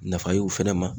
Nafa ye o fɛnɛ ma